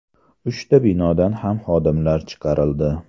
Uchta binodan ham xodimlar chiqarildi.